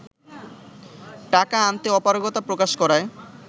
টাকা আনতে অপারগতা প্রকাশ করায়